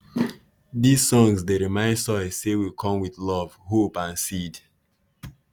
these songs dey remind soil say we come with love hope and seed.